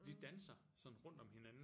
De danser sådan rundt om hinanden